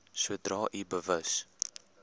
sodra u bewus